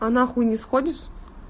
а нахуй не сходишь